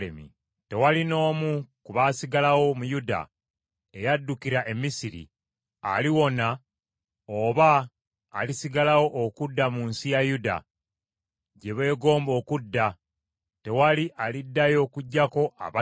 Tewali n’omu ku baasigalawo mu Yuda eyaddukira e Misiri, aliwona oba alisigalawo okudda mu nsi ya Yuda, gye beegomba okudda, tewali aliddayo okuggyako abatono ennyo.”